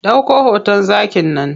Ɗauko hoton zakin nan.